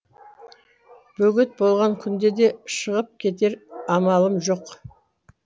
бөгет болған күнде де шығып кетер амалым жоқ